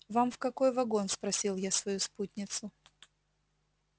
вам в какой вагон спросил я свою спутницу